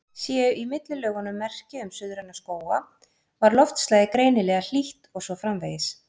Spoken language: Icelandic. Séu í millilögunum merki um suðræna skóga var loftslagið greinilega hlýtt, og svo framvegis.